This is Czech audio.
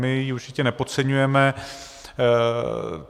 My ji určitě nepodceňujeme.